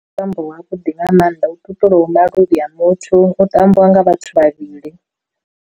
Ndi mutambo wa vhuḓi nga maanḓa u ṱuṱulaho maluvhi a muthu u tambiwa nga vhathu vhavhili.